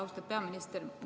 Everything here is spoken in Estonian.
Austatud peaminister!